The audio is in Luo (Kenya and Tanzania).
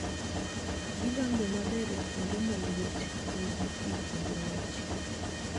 Gi dongo maber e kuonde ma liet, nigi pi kendo ng'ich